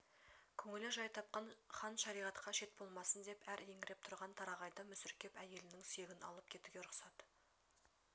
көңілі жай тапқан хан шариғатқа шет болмасын деп әр еңіреп тұрған тарағайды мүсіркеп әйелінің сүйегін алып кетуге рұқсат